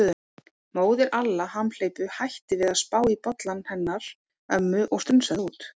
Móðir Alla hamhleypu hætti við að spá í bollann hennar ömmu og strunsaði út.